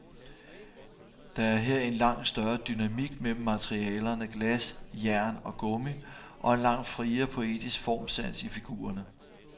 Der er her en langt større dynamik mellem materialerne glas, jern og gummi og en langt friere poetisk formsans i figurerne.